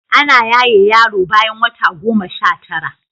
Ana yaye yaro bayan wata goma Sha tara